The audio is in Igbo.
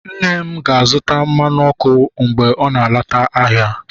nne m ga-azụta mmanụ ọkụ mgbe ọ na-alọta ahịa